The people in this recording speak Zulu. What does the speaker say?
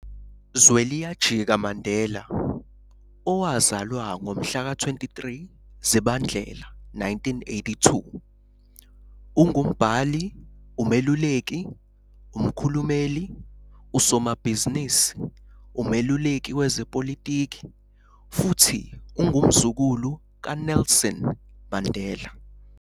Zweliyajika Mandela, owazalwa ngomhlaka 23 Zibandlela 1982, ungumbhali, umeluleki, umkhulumeli, usomabhizinisi, umeluleki wezepolitiki futhi ungumzukulu kaNelson Mandela.